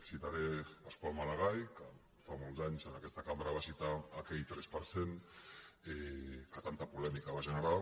citaré pasqual maragall que fa molts anys en aquesta cambra va citar aquell tres per cent que tan·ta polèmica va generar